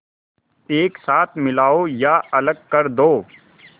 एक साथ मिलाओ या अलग कर दो